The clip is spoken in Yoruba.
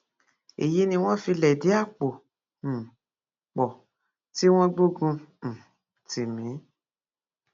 èyí ni wọn fi lẹdí àpò um pọ tí wọn gbógun um tì mí